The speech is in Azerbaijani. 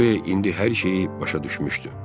Güya indi hər şeyi başa düşmüşdü.